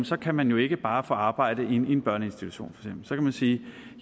så kan man jo ikke bare få arbejde i for eksempel en børneinstitution så kan vi sige